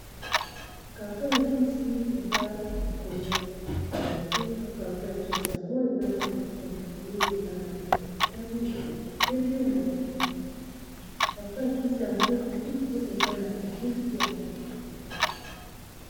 Karto ya kisi, eza likolo ya mbeto. Karto ya kisi yango, eza na bikomeli. Eza na langi ya motani, na langi ya pembe, na lange ya moîndo. Karto ya kisi yango lisusu eza na elili ya mwana mokie.